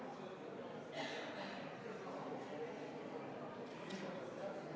Muudatusettepanek ei leidnud toetust.